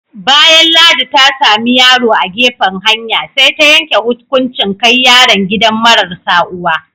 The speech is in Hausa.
Bayan Ladi ta sami yaro a gefen hanya, sai ta yanke hukunchin kai yaron gidan mararsa uwa.